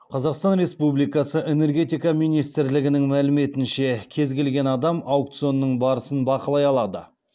қазақстан республикасы энергетика министрлігінің мәліметінше кез келген адам аукционның барысын бақылай алады